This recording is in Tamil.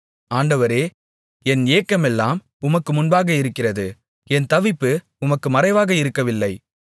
ஆண்டவரே என் ஏக்கமெல்லாம் உமக்கு முன்பாக இருக்கிறது என் தவிப்பு உமக்கு மறைவாக இருக்கவில்லை